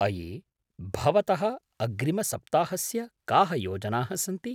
अये! भवतः अग्रिमसप्ताहस्य काः योजनाः सन्ति ?